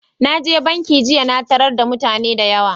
Na je bankin jiya na taro da mutane da yawa